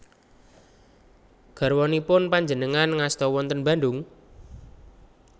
Garwanipun panjenengan ngasta wonten Bandung?